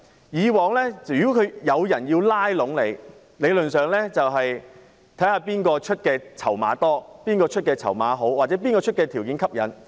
以往如果有人要拉攏你，理論上要看看誰肯出較多、較好的籌碼或是條件較吸引。